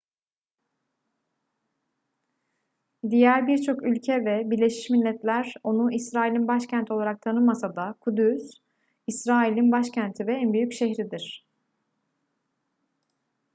diğer birçok ülke ve birleşmiş milletler onu i̇srail'in başkenti olarak tanımasa da kudüs i̇srail'in başkenti ve en büyük şehridir